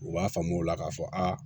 U b'a faamu o la k'a fɔ aa